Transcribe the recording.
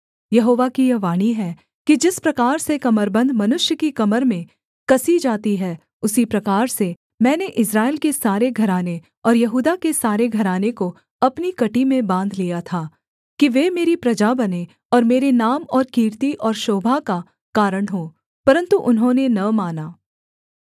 यहोवा की यह वाणी है कि जिस प्रकार से कमरबन्द मनुष्य की कमर में कसी जाती है उसी प्रकार से मैंने इस्राएल के सारे घराने और यहूदा के सारे घराने को अपनी कमर में बाँध लिया था कि वे मेरी प्रजा बनें और मेरे नाम और कीर्ति और शोभा का कारण हों परन्तु उन्होंने न माना